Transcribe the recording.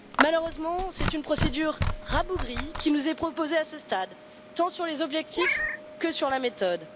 Malheureusement, c'est une procédure rabougrie qui nous est proposée à ce stade, tant sur les objectifs que sur la méthode.